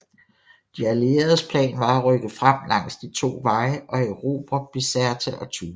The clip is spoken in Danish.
De allieredes plan var at rykke frem langs de to veje og erobre Bizerte og Tunis